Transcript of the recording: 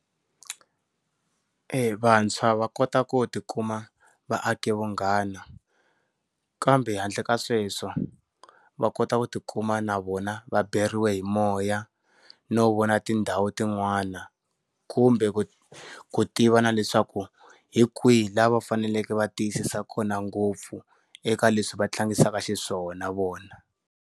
Vantshwa va kota ku ti kuma va ake vunghana. Kambe handle ka sweswo, va kota ku ti kuma na vona va beriwe hi moya no vona tindhawu tin'wana, kumbe ku ku tiva na leswaku hi kwihi laha va faneleke va tiyisisa kona ngopfu eka leswi va tlangisaka xiswona vona.